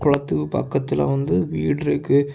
குளத்துக்கு பக்கத்துல வந்து வீடு இருக்கு.